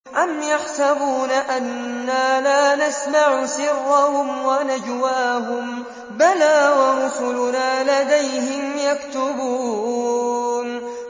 أَمْ يَحْسَبُونَ أَنَّا لَا نَسْمَعُ سِرَّهُمْ وَنَجْوَاهُم ۚ بَلَىٰ وَرُسُلُنَا لَدَيْهِمْ يَكْتُبُونَ